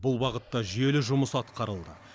бұл бағытта жүйелі жұмыс атқарылды